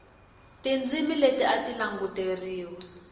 tindzimi leti a ti languteriwa